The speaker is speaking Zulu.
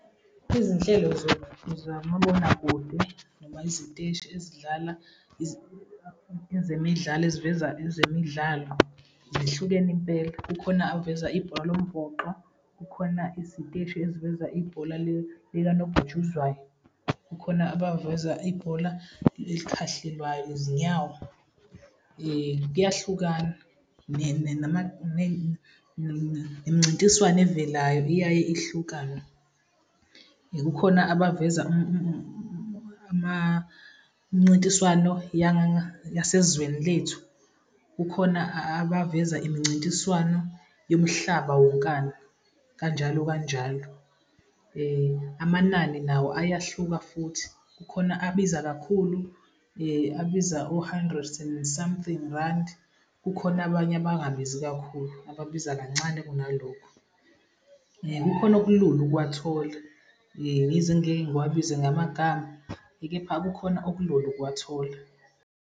Izinhlelo zamabonakude noma iziteshi ezidlala ezemidlalo, eziveza ezemidlalo zihlukene impela. Kukhona aveza ibhola lombhoxo, kukhona isiteshi eziveza ibhola likanobhutshuzwayo, kukhona abaveza ibhola elikhahlelwayo izinyawo, kuyahlukana . Nemincintiswano evelayo iyaye ihlukane. Kukhona abaveza mncintiswano yasezweni lethu, kukhona abaveza imncintiswano yomhlaba wonkana kanjalo, kanjalo. Amanani nawo ayahluka futhi. Kukhona abiza kakhulu, abiza o-hundred and something randi. Kukhona abanye abangabizi kakhulu, ababiza kancane kunalokhu. Kukhona okulula ukuwathola yize ngingeke ngiwabize ngamagama kepha kukhona okulula ukuwathola.